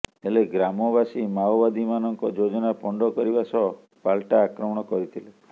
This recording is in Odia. ହେଲେ ଗ୍ରାମବାସୀ ମାଓବାଦୀମାନଙ୍କ ଯୋଜନା ପଣ୍ଡ କରିବା ସହ ପାଲଟା ଆକ୍ରମଣ କରିଥିଲେ